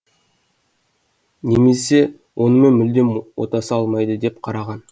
немесе онымен мүлдем отаса алмайды деп қараған